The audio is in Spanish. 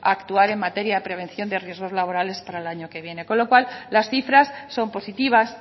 actuar en materia de prevención de riesgos laborales para el año que viene con lo cual las cifras son positivas